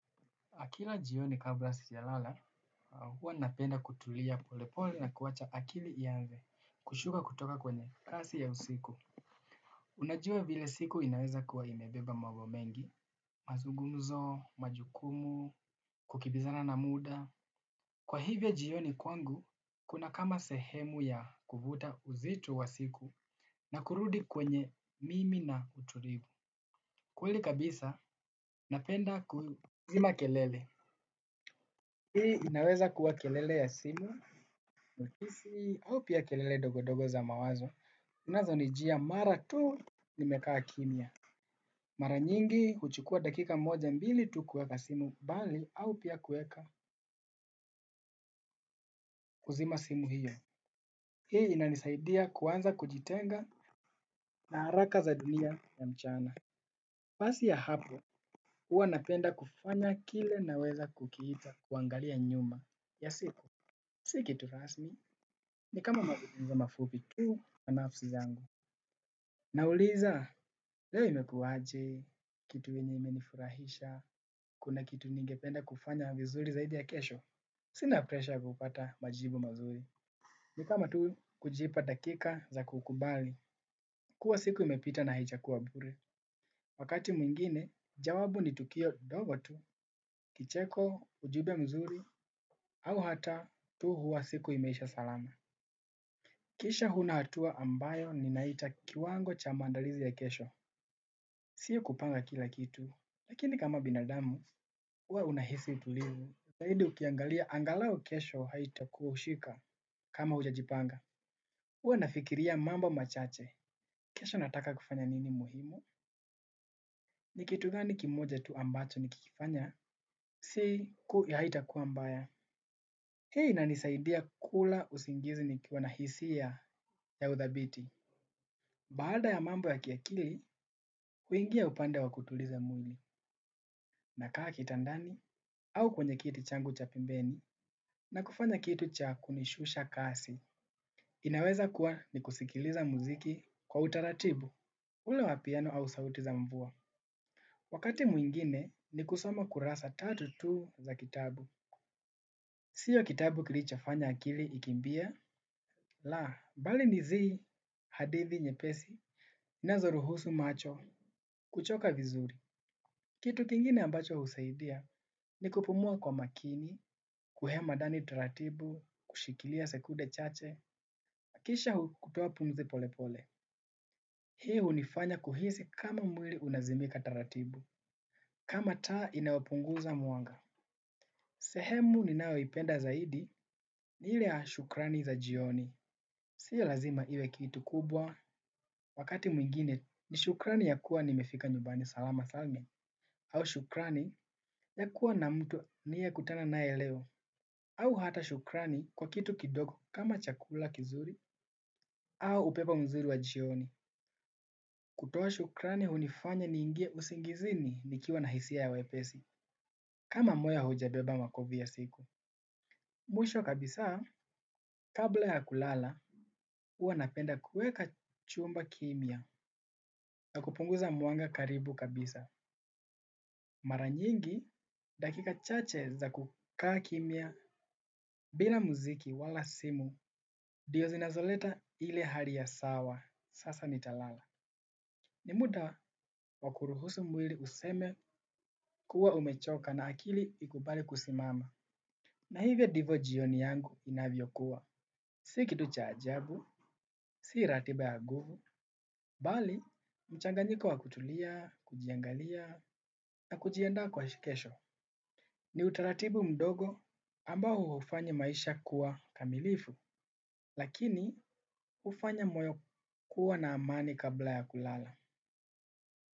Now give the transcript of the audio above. Kila jioni kablasi ja lala, huwa napenda kutulia polepole na kuwacha akili ianze kushuka kutoka kwenye kasi ya usiku. Unajua vile siku inaweza kuwa imebeba mambomengi, mazungumzo, majukumu, kukibizana na muda. Kwa hivyo jioni kwangu, kuna kama sehemu ya kuvuta uzito wa siku na kurudi kwenye mimi na uturivu. Kweli kabisa, napenda kuzima kelele. Hii inaweza kuwa kelele ya simu, mukisi, au pia kelele ndogondogo za mawazo. Zinazo ni jia mara tu nimekaa kimia. Mara nyingi huchukua dakika moja mbili tu kuweka simu mbali au pia kuweka kuzima simu hiyo. Hii inanisaidia kuanza kujitenga na haraka za dunia ya mchana. Pasi ya hapo, huwa napenda kufanya kile naweza kukiita kuangalia nyuma ya siku. Siki tu rasmi ni kama mafupi tu na nafsi zangu. Nauliza leo imekuwaje, kitu yenye imenifurahisha, kuna kitu ningependa kufanya vizuri zaidi ya kesho. Sina preshaya kupata majibu mazuri. Nikama tu kujipa dakika za kukubali. Kuwa siku imepita na haija kuwa bure. Wakati mwingine jawabu ni tukio ndogo tu kicheko ujumbe mzuri au hata tu huwa siku imeisha salama. Kisha huna hatua ambayo ninaiita kiwango cha maandalizi ya kesho. Sio kupanga kila kitu. Lakini kama binadamu, ua unahisi tulivu. Zaidi ukiangalia angalau kesho haitakushika kama hujajipanga hua nafikiria mambo machache. Kesho nataka kufanya nini muhimu? Nikitugani kimoja tu ambacho nikikifanya? Si ku haitakua mbaya. Hii ina nisaidia kula usingizi ni kiwanahisia ya uthabiti. Baada ya mambo ya kiakili, huingia upande wa kutuliza mwili na kaa kitandani au kwenye kiti changu cha pembeni na kufanya kitu cha kunishusha kasi. Inaweza kuwa ni kusikiliza muziki kwa utaratibu, ule wapiano au sauti za mvua. Wakati mwingine ni kusoma kurasa tatu tu za kitabu. Sio kitabu kilicho fanya akili ikimbie, la bali nizi hadithi nye pesi na zoruhusu macho kuchoka vizuri. Kitu kingine ambacho husaidia ni kupumua kwa makini, kuhema ndani taratibu, kushikilia sekunde chache, nakisha kutoa pumzi pole pole. Hii hunifanya kuhisi kama mwili unazimika taratibu, kama taa inayopunguza mwanga. Sehemu ni nayo ipenda zaidi ni ile ya shukrani za jioni. Sio lazima iwe kitu kubwa, wakati mwingine ni shukrani ya kuwa nimefika nyumbani salama salmi. Au shukrani ya kuwa na mtu ni ye kutana naye leo. Au hata shukrani kwa kitu kidogo kama chakula kizuri. Au upepo mzuri wa jioni. Kutoa shukrani hunifanya ni ingie usingizini nikiwa na hisia ya wepesi kama moyo hauja beba makovuya siku. Mwisho kabisa kabla ya kulala huwanapenda kuweka chumba kimia na kupunguza mwanga karibu kabisa. Maranyingi dakika chache za kukaa kimia. Bila muziki wala simu ndiyo zinazoleta ile hali ya sawa. Sasa ni talala. Ni muda wakuruhusu mwili useme kuwa umechoka na akili ikubali kusimama. Na hivyo divyo jioni yangu inavyo kuwa. Sikitu cha ajabu, si ratiba ya nguvu, bali mchanganyiko wa kutulia, kujiangalia na kujiandaa kwa kesho. Ni utaratibu mdogo ambao hufanya maisha kua kamilifu lakini hufanya moyo kua na amani kabla ya kulala.